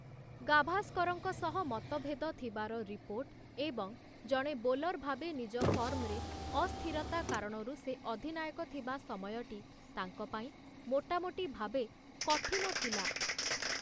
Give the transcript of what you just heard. ଗାଭାସ୍କରଙ୍କ ସହ ମତଭେଦ ଥିବାର ରିପୋର୍ଟ ଏବଂ ଜଣେ ବୋଲର୍‌ ଭାବେ ନିଜ ଫର୍ମ‌ରେ ଅସ୍ଥିରତା କାରଣରୁ ସେ ଅଧିନାୟକ ଥିବା ସମୟଟି ତାଙ୍କ ପାଇଁ, ମୋଟାମୋଟି ଭାବେ, କଠିନ ଥିଲା ।